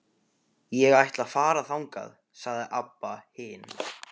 Ég ætla að fara þangað, sagði Abba hin.